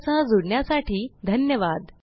आमच्या सह जुडण्यासाठी धन्यवाद